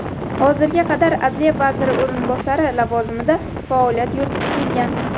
Hozirga qadar adliya vaziri o‘rinbosari lavozimida faoliyat yuritib kelgan.